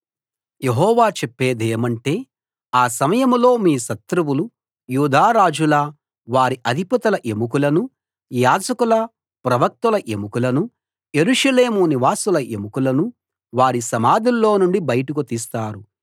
యెహోవా చెప్పేదేమంటే ఆ సమయంలో మీ శత్రువులు యూదా రాజుల వారి అధిపతుల ఎముకలను యాజకుల ప్రవక్తల ఎముకలను యెరూషలేము నివాసుల ఎముకలను వారి సమాధుల్లో నుండి బయటికి తీస్తారు